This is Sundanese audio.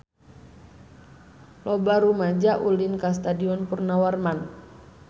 Loba rumaja ulin ka Stadion Purnawarman